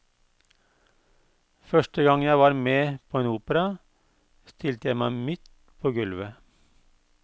Første gang jeg var med på en opera, stilte jeg meg midt på gulvet.